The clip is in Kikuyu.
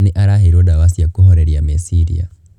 Nĩ araheirwo dawa cia kũhoreria meciria.